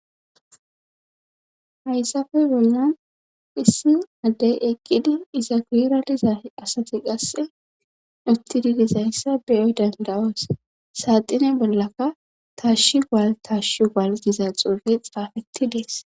Hayssafe bollan phissin addey eqqidi izageradiza asati qasse utti didizayssa beyoy dandawos saaxine bollaka taashi gwal taashshi gwal diza xuure xaafetti dees.